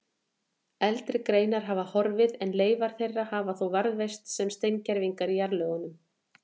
Eldri greinar hafa horfið en leifar þeirra hafa þó varðveist sem steingervingar í jarðlögum.